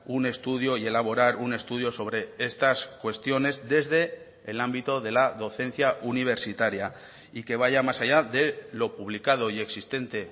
un estudio y elaborar un estudio sobre estas cuestiones desde el ámbito de la docencia universitaria y que vaya más allá de lo publicado y existente